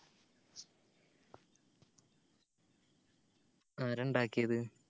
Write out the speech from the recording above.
ആരഇണ്ടാകിയത്